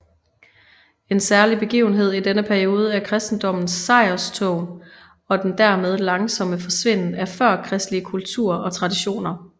En særlig begivenhed i denne periode er kristendommens sejrstog og den dermed langsomme forsvinden af førkristelige kulter og traditioner